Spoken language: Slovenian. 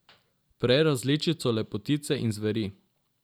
Prej različico Lepotice in zveri.